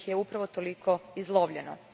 jer ih je upravo toliko izlovljeno.